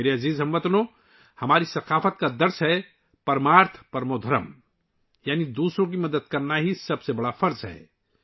میرے پیارے ہم وطنو، ہماری ثقافت سکھاتی ہے 'پرمارتھ پرمو دھرم' یعنی دوسروں کی مدد کرنا سب سے بڑا فرض ہے